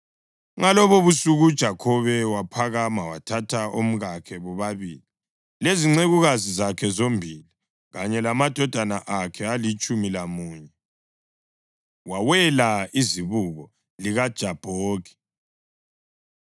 Ngalobobusuku uJakhobe waphakama wathatha omkakhe bobabili, lezincekukazi zakhe zombili kanye lamadodana akhe alitshumi lamunye wawela izibuko likaJabhoki.